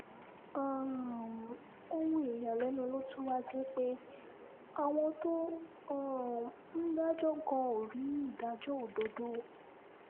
um ohun ìyàlẹ́nu ló tún wáá jẹ́ pé àwọn tó um ń dájọ́ gan ò rí ìdájọ́ òdodo